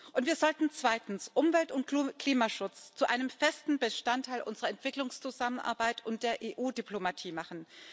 Und wir sollten zweitens Umwelt und Klimaschutz zu einem festen Bestandteil unserer Entwicklungszusammenarbeit und der EU Diplomatie machen.